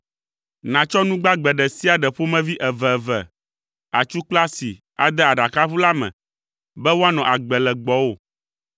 Nàtsɔ nu gbagbe ɖe sia ɖe ƒomevi eveve, atsu kple asi ade aɖakaʋu la me be woanɔ agbe le gbɔwò.